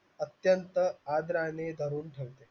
अत्यंत आदराने धरून ठेव